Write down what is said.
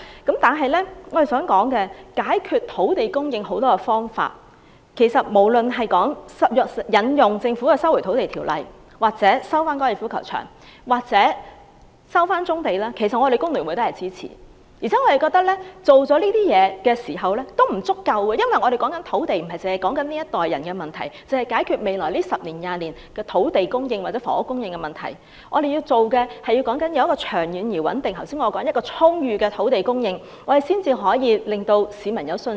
解決土地供應問題有很多種方法，無論是政府引用《收回土地條例》收地、收回粉嶺高球場或收回棕地，工聯會都支持，但我們覺得即使這樣也不足夠，因為我們不單要解決這一代人的房屋問題，不單是解決未來10年或20年的土地供應或房屋供應問題，我們還要有長遠、穩定及充裕的土地供應，才可以令市民有信心。